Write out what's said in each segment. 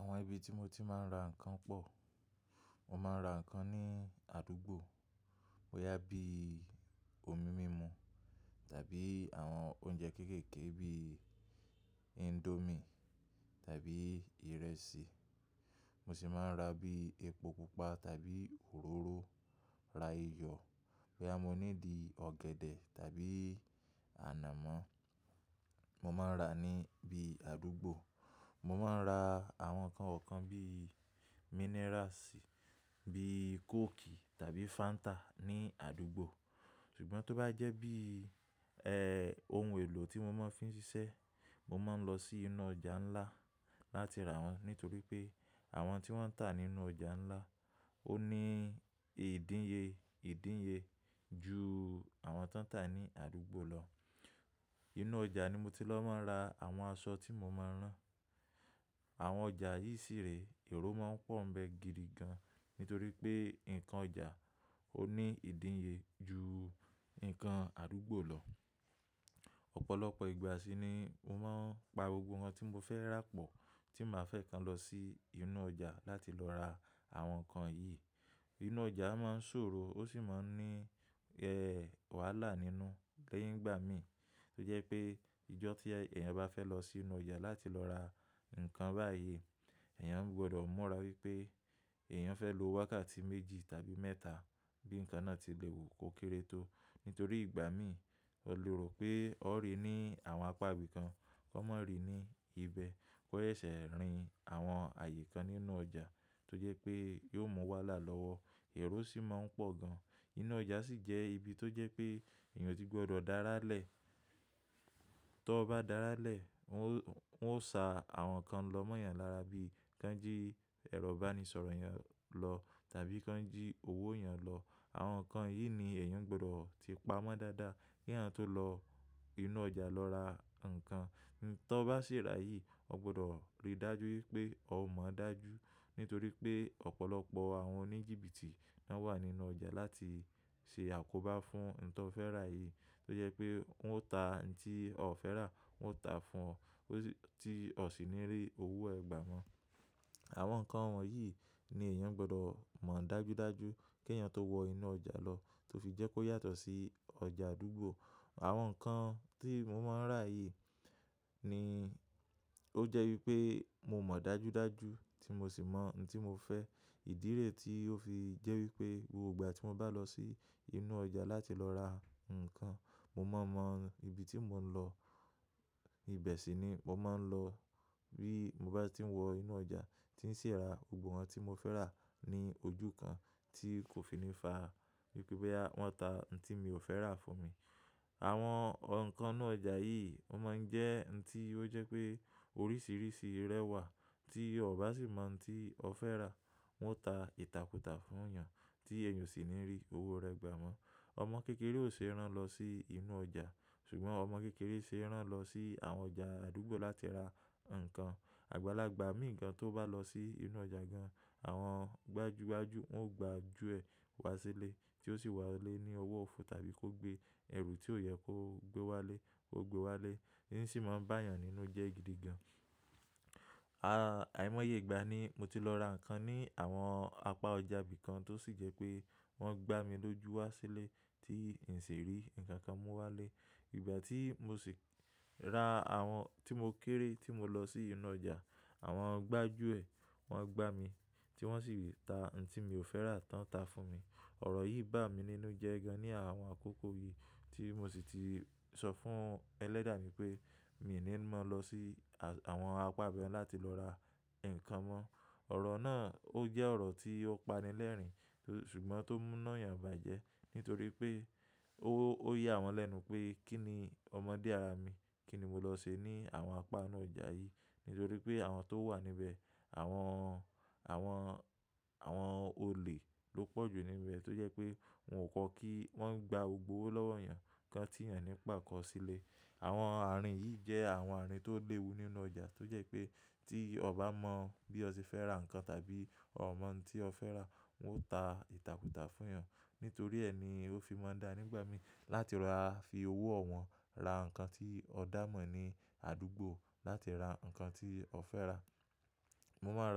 Àwọn ibi tí mo ti máa ń ra ǹkan pọ̀. Mo máa ń ra ǹkan ní àdúgbò, boya bíi omi mímu tàbí àwọn oúnjẹ kéékèèké bíi indomie tàbí ìrẹsì. Mo sì máa ń ra bíi epo pupa tàbí òróró, ra iyọ̀, boyé mo ní di ọ̀gẹ̀dẹ̀ tàbí ànàmọ́. Mo máa ń ra ní bí i àdúgbò. Mo máa ń ra àwọn ǹkan ọ̀kan bíi minerals bíi coke tàbí fanta ní àdúgbò. Ṣùgbọ́n tó bá jẹ́ bí i, ẹ́, ohun èlò tí mo máa fi ń ṣiṣẹ́, mo máa ń lọ sí inú ọjà ńlá láti ra wọ́n. Nítorí pé àwọn tí wọ́n ń tà nínú ọjà ńlá, ó ní ìdín ye ìdín ye ju àwọn tó ń tà ní àdúgbò lọ. Inú ọjà ni mo ti lọ máa ń ra àwọn aṣọ tí mo máa ń rán. Àwọn ọjà yì síre, èrò máa ń pọ̀ ń bẹ gidi gan. Nítorí pé ǹkan ọjà ó ní ìdín ye ju ǹkan àdúgbò lọ. Ọ̀pọ̀lọpọ̀ ìgbà sí ni mo máa ń pa gbogbo ohun tí mo fẹ́ rà pọ̀ tí màá fẹ́ kan lọ sí inú ọjà láti lọ ra àwọn ǹkan yìí. Inú ọjà máa ń ṣòro ó sì máa ń ní, ẹ́, wàhálà nínú lẹ́yìn ìgbà mí. Tó jẹ́ pé ìjọ tí èèyàn bá fẹ́ lọ sí inú ọjà láti lọ ra ǹkan báyìí, èèyàn gbọdọ̀ mọ̀rá pé èèyàn fẹ́ lo wákàtí méjì tàbí mẹ́ta bí ǹkan náà ti lè wù kó kéré tó. Nítorí ìgbà mí, ó lérò pé ó rí ní àwọn apá ibi kan, kó má rí ní ibẹ̀. O ṣẹṣẹ rìn àwọn ààyè kan nínú ọjà tó jẹ́ pé yóò mú wàhálà lọ́wọ́. Èrò sì máa ń pọ̀ gan. Inú ọjà sì jẹ́ ibi tó jẹ́ pé èèyàn ò tí gbọdọ̀ dára lẹ́ẹ̀. Tó bá dára lẹ́ẹ̀, wọn ó, wọn ó sa àwọn ǹkan lọ́mọ̀yàn lára bí i kí wọ́n jí ẹro ibanísọ̀rọ̀ èèyàn lọ tàbí kí wọ́n jí owó èèyàn lọ. Àwọn ǹkan yìí ni èèyàn gbọdọ̀ ti pa mọ́ dáadáa kí èèyàn tó lọ inú ọjà lọ ra ǹkan. Ǹtó bá ṣèrá yìí, ó gbọdọ̀ rí dájú wípé ó mọ̀ dájú. Nítorí pé ọ̀pọ̀lọpọ̀ àwọn oníjìbìtì ná wà nínú ọjà láti ṣe àkóbá fún ǹtó fẹ́ rà yìí. Tó jẹ́ pé wọn ó ta ǹti ó fẹ́ rà, wọn ó ta fún ọ tí ó sì ní rí owó ẹ gbà mọ́. Àwọn ǹkan wọ̀nyí ni èèyàn gbọdọ̀ mọ̀ dájú dájú kí èèyàn tó wọ inú ọjà lọ. Tó fi jẹ́ kó yàtọ̀ sí ọjà àdúgbò. Àwọn ǹkan tí mo máa ń rà yìí ni ó jẹ́ wípé mo mọ̀ dájú dájú tí mo sì mọ̀ ǹti mo fẹ́. Ìdílé tí ó fi jẹ́ wípé gbogbo ìgbà tí mo bá lọ sí inú ọjà láti lọ ra ǹkan, mo máa mọ ibi tí mò ń lọ. Ibẹ̀ sì ni mo máa ń lọ bí mo bá ti ń wọ inú ọjà tí ń ṣira gbogbo unkan tí mo fẹ́ rà ní ojú kan tí kò fi ní fa wípé wọ́n ta ǹti mi ò fẹ́ rà fún mi. Àwọn ǹkan inú ọjà yìí, ó má ń jẹ́ ǹti ó jẹ́ pé oríṣiríṣi rẹwà tí o bá sì mọ̀ ǹti o fẹ́ rà, wọn ó ta ìtàkùtà fún èèyàn tí èèyàn sì ní rí owó ẹ gbà mọ́. Ọmọ kékeré ò ṣe ẹ́ rán lọ sí inú ọjà. Ṣùgbọ́n ọmọ kékeré ṣe ẹ́ rán lọ sí àwọn ọjà àdúgbò láti ra ǹkan. Àgbàlagbà mìíràn tó bá lọ sí inú ọjà gan, àwọn gbajúgbajù wọn ó gbà á ju ẹ wá sílé tí ó sì wá lé ní owó ọ̀fọ̀ tàbí kó gbé ẹrù tí ò yẹ kó gbé wá lé kó gbé wá lé. Èyí sì máa ń bá èèyàn nínú jẹ́ gidi gan. Àìmọ́ye ìgbà ní mo ti lọ ra ǹkan ní àwọn apá ọjà bíi kan tó sì jẹ́ pé wọ́n gbá mi lójú wá sílé tí n sì rí ǹkan kan mú wá lé. Ìgbà tí mò sì ra àwọn tí mo kéré tí mo lọ sí inú ọjà, àwọn gbájúẹ̀ wọn gbá mi tí wọ́n sì ta ǹti mi ò fẹ́ rà tán ta fún mi. Ọ̀rọ̀ yìí gbà mí nínú jẹ́ gan ní àwọn àkókò yìí tí mò sì ti sọ fún ẹlẹ́dàá mi pé, mí ò ní mọ̀ lọ sí àwọn apá bẹ́ẹ̀ láti lọ ra ǹkan mọ́. Ọ̀rọ̀ náà ó jẹ́ ọ̀rọ̀ tí ó pani lẹ́rìnín. Ṣùgbọ́n tó múna èèyàn bàjẹ́. Nítorí pé ó, ó ya àwọn lẹ́nu pé kí ni ọmọdé ara mi kí ni mò lọ ṣe ní àwọn apá inú ọjà yìí. Nítorí pé àwọn tó wà níbẹ̀, àwọn, àwọn, àwọn olè ló pọ̀jù níbẹ̀ tó jẹ́ pé wọn ò kọ́ kí wọ́n gbá gbogbo owó lọ́wọ́ èèyàn kan tí èèyàn ní pàkọ́ sílẹ̀. Àwọn àárín yìí jẹ́ àwọn àárín tó léwu nínú ọjà tó jẹ́ pé tí o bá mọ bí o ṣe fẹ́ rà ǹkan tàbí o mọ̀ ǹti o fẹ́ rà, wọn ó ta ìtàkùtà fún yàn. Nítorí ẹ́ ni ó fi máa ń dá nígbà mí láti ra fi owó wọn ra ǹkan tí ó dà mọ́ ní àdúgbò láti ra ǹkan tí ó fẹ́ rà. Mo máa ń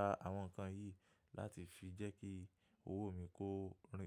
ra àwọn ǹkan yìí láti fi jẹ́ kí owó mi kó rìn.